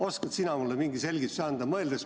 Oskad sina mulle mingi selgituse anda?